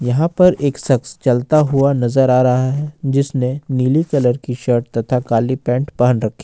यहां पर एक शख्स चलता हुआ नजर आ रहा है जिसने नीली कलर की शर्ट तथा काली पैंट पहन रखी।